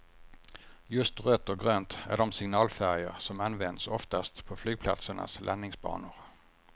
Just rött och grönt är de signalfärger som används oftast på flygplatsernas landningsbanor.